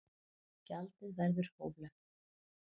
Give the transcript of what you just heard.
Gjaldið verður hóflegt